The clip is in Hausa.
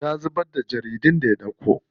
Ya zubar da jaridun da ya ɗauko.